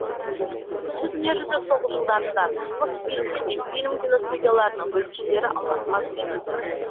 екінші дүниежүзілік соғыс жылдарында мосфильм мен ленфильм киностудияларының бөлімшелері алматыға көшірілді